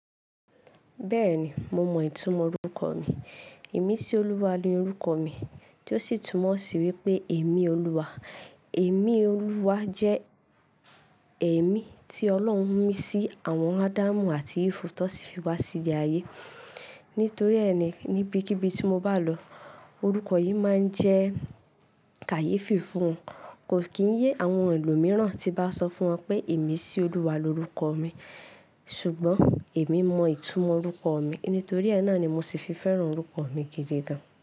Bẹ́ẹ̀ni, mo mọ ìtumọ̀ orúkọ mi. Imisíolúwa ni orúkọ mi tó sì túmọ̀ sí wípé ẹ̀emí Olúwa. Ẹ̀emí Olúwa jẹ́ ẹ̀emí tí Ọlọ́run mí sí àwọn Ádámù àti Ifu tó sì fi wá sí ilé ayé. Nítorí ẹ́ ni níbikíbi tí mo bá lọ, orúkọ yìí máa ń jẹ́ kàyéfì fún Kò kíyé àwọn ẹlòmíràn tí bá sọ fún wọn pé Imisolúwa lorúkọ mi. Ṣùgbọ́n èmi mọ ìtumọ̀ orúkọ mi, nítorí ẹ́ náà ni mo sì fi fẹ́ràn orúkọ mi gidi gan.